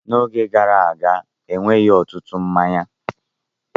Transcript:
N'oge gara aga, enweghị ọtụtụ mmanya.